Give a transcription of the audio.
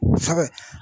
Sɛ